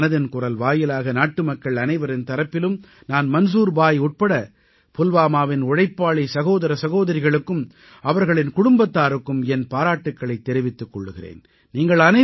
இன்று மனதின் குரல் வாயிலாக நாட்டுமக்கள் அனைவரின் தரப்பிலும் நான் மன்சூர் பாய் உட்பட புல்வாமாவின் உழைப்பாளி சகோதர சகோதரிகளுக்கும் அவர்களின் குடும்பத்தாருக்கும் என் பாராட்டுக்களைத் தெரிவித்துக் கொள்கிறேன்